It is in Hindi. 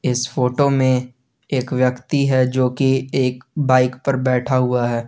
इस फोटो में एक व्यक्ति है जो कि एक बाइक पर बैठा हुआ है।